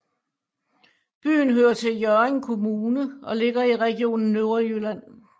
Byen hører til Hjørring Kommune og ligger i Region Nordjylland